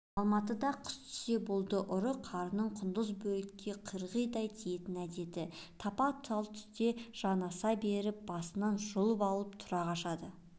алматыда қыс түссе болды ұры-қарының құндыз бөрікке қырғидай тиетін әдеті тапа-талтүсте жанаса беріп басыңнан жұлып алып тұра қашады